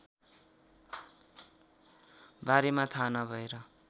बारेमा थाहा नभएर